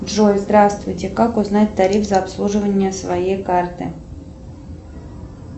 джой здравствуйте как узнать тариф за обслуживание своей карты